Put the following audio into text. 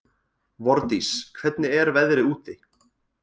Vordís, hvernig er veðrið úti?